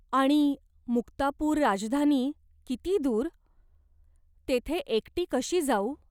आणि मुक्तापूर राजधानी किती दूर? तेथे एकटी कशी जाऊ ?